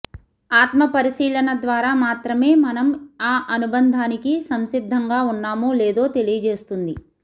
ఆత్మపరిశీలన ద్వారా మాత్రమే మనం ఆ అనుబంధానికి సంసిద్ధంగా ఉన్నామో లేదో తెలియజేస్తుంది